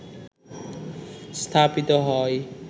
স্থাপিত হয়